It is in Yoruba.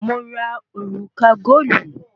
Mo ra òrùka góòlù